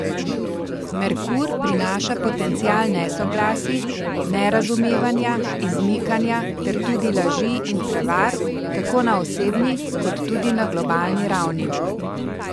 Merkur prinaša potencial nesoglasij, nerazumevanja, izmikanja ter tudi laži in prevar tako na osebni kot tudi na globalni ravni.